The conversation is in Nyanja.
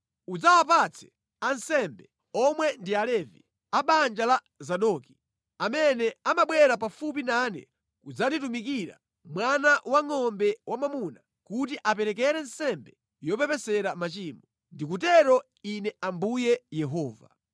Udzawapatse ansembe, omwe ndi Alevi, a banja la Zadoki, amene amabwera pafupi nane kudzanditumikira, mwana wangʼombe wamwamuna kuti aperekere nsembe yopepesera machimo. Ndikutero Ine Ambuye Yehova.